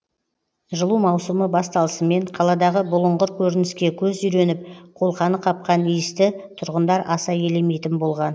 жылу маусымы басталысымен қаладағы бұлыңғыр көрініске көз үйреніп қолқаны қапқан иісті тұрғындар аса елемейтін болған